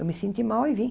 Eu me senti mal e vim.